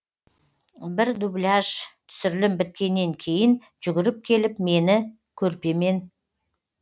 бір дубляж түсірілім біткеннен кейін жүгіріп келіп мені көрпемен